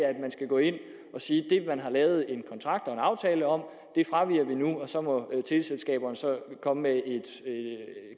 at man skal gå ind at sige at man har lavet en kontrakt og en aftale om og så må teleselskaberne komme med et